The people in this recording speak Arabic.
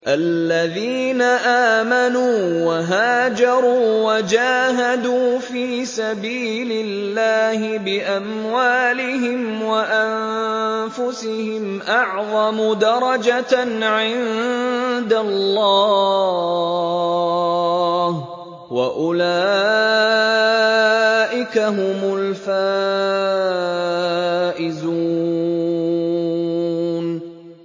الَّذِينَ آمَنُوا وَهَاجَرُوا وَجَاهَدُوا فِي سَبِيلِ اللَّهِ بِأَمْوَالِهِمْ وَأَنفُسِهِمْ أَعْظَمُ دَرَجَةً عِندَ اللَّهِ ۚ وَأُولَٰئِكَ هُمُ الْفَائِزُونَ